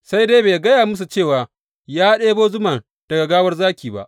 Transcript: Sai dai bai gaya musu cewa ya ɗebo zuman daga gawar zaki ba.